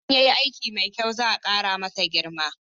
Idan ya yi aiki mai kyau, za'a kara masa girma